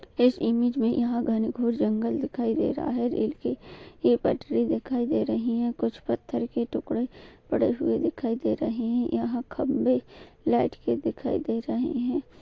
इस इमेज में यहाँ घंघोर जंगल दिखाई दे रहा है रेल की ये पटरी दिखाई दे रहे है कुछ पत्थर के टुकड़े पड़े हुए दिखाई दे रहे हैं यहाँ खंबे लाइट के दिखाई दे रहे हैं।